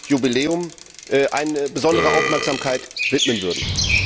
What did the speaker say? Jubiläum, besondere Aufmerksamkeit widmen würden.